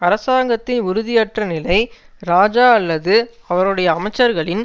அரசாங்கத்தின் உறுதியற்ற நிலை இராஜா அல்லது அவருடைய அமைச்சர்களின்